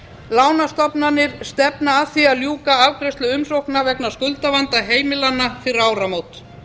lánastofnanir stefna að því að ljúka afgreiðslu umsókna vegna skuldavanda heimilanna fyrir áramót